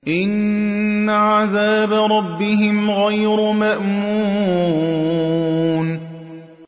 إِنَّ عَذَابَ رَبِّهِمْ غَيْرُ مَأْمُونٍ